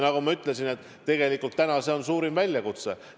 Nagu ma ütlesin, tegelikult on täna see suurim väljakutse.